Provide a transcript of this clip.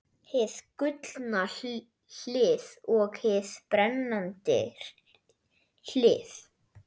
Hið gullna hlið og hið brennandi hlið.